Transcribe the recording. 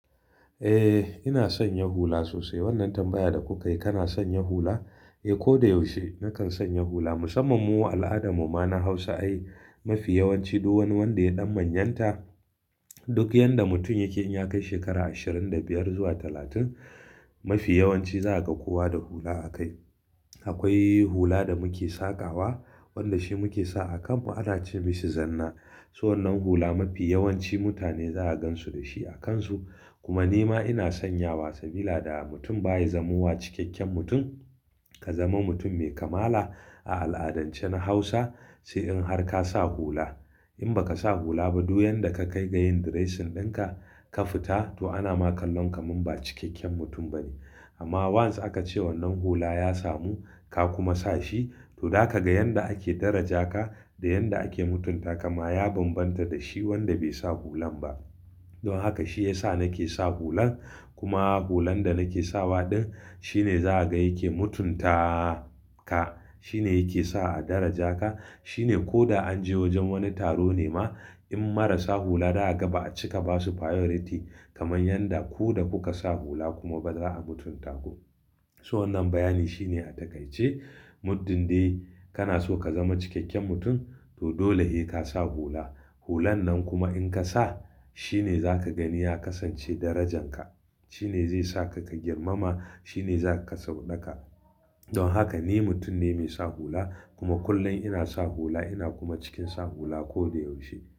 Eh, ina son yin hula sosai. Wannan tambayar da kuka yi, kana son yin hula? Eh, ko da yaushe na kan son yin hula. Musamman mu al'adarmu ma na Hausa ai mafi yawanci duk wani wanda ya ɗan manyanta duk yanda mutum yake in ya kai shekara ashirin da biyar zuwa talatin mafi yawanci za a ga kowa da hula a kai. Akwai hula da muke sakawa wanda shi muke sa a kanmu ana cin bishi zanna. So wannan hula mafi yawanci mutane za a gansu da shi a kansu. Kuma ni ma ina sanyawa sabila da mutum baya zamuwa cikakken mutum ka zama mutum mai kamala a al'adance na Hausa sai in har ka sa hula. In baka sa hula ba duk yanda ka kai ga yin dressing dinka ka fita to ana ma kallon ka mun ba cikakken mutum bane. Amma want's aka ce wannan hula ya samu ka kuma sa shi to za ka ga yanda ake daraja ka da yanda ake mutunta ka ma ya bambanta da shi wanda bai sa hulan ba. Don haka shi ya sa nake sa hulan. Kuma hulan da nake sawa din shine za a ga yake mutuntaa ka. Shi ne yake sa a daraja ka. Shi ne ko da an je wajen wani taro ne ma in marasa hula za a ga ba a cika basu priority kamar yanda ku da kuka sa hula kuma ba za a mutunta ku. So wannan bayani shine a takaice muddin dai kana so ka zama cikakken mutum to dole ne ka sa hula. Hulan nan kuma in ka sa shi ne za ka gani ya kasance darajan ka. Shi ne zai sa ka, ka girmama. Shi ne za ka sauɗa ka. Don haka ni mutum ne mai sa hula kuma kullum ina sa hula ina kuma cikin sa hula ko da yaushe.